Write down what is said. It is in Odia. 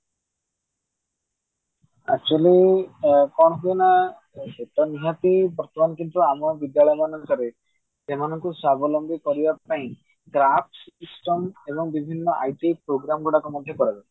actually କଣ ହୁଏ ନା ସେ ତ ନିହାତି ବର୍ତ୍ତମାନ କିନ୍ତୁ ଆମ ବିଦ୍ୟାଳୟ ମାନଙ୍କରେ ସେମାନଙ୍କୁ ସ୍ବାବଲମ୍ବୀ କରିବା ପାଇଁ system ଏବଂ ବହୁତ IT program ଗୁଡିକ ମଧ୍ୟ କରା ଯାଉଛି